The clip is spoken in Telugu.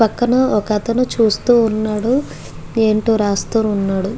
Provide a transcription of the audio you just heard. పక్కన ఒక అతని చూస్తూ వున్నాడు ఏంటో రాస్తూ వున్నాడు.